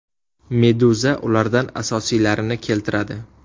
Meduza ulardan asosiylarini keltiradi .